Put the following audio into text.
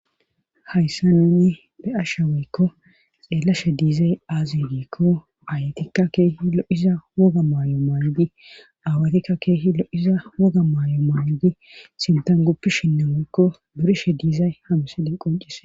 Hayssa nuni be'ashshe waykko xeellashe diizay aazi giikko aayatikka keehi lo'iza wogga maayo ma'idi aawatikka keehi lo'iza wogga maayo ma'idi sintan guupishinne woyykko duriishshe diizay ha msiley qoncisees